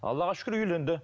аллаға шүкір үйленді